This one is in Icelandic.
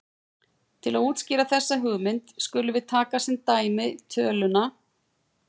Til að útskýra þessa hugmynd skulum við taka sem dæmi töluna